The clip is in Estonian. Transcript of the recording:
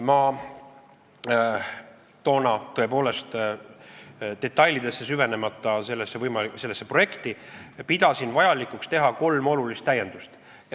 Ma toona tõepoolest, süvenemata selle projekti detailidesse, pidasin vajalikuks teha kolm olulist täiendust.